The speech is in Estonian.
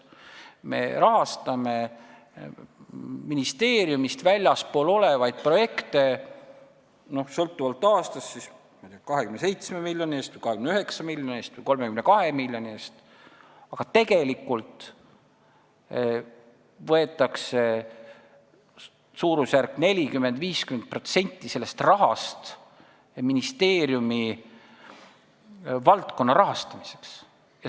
Me rahastame ministeeriumist väljaspool olevaid projekte sõltuvalt aastast 27 miljoni, 29 miljoni või 32 miljoni eest, aga tegelikult võetakse suurusjärgus 40–50% sellest rahast ministeeriumi valdkonna rahastamiseks.